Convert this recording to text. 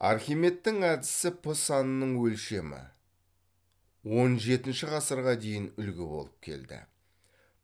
архимедтің әдісі п санының өлшемі он жетінші ғасырға дейін үлгі болып келді